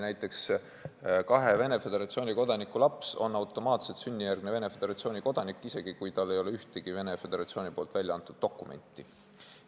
Näiteks kahe Venemaa Föderatsiooni kodaniku laps on automaatselt sünnijärgne Venemaa Föderatsiooni kodanik, isegi kui tal ei ole ühtegi Venemaa Föderatsiooni välja antud dokumenti.